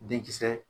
Denkisɛ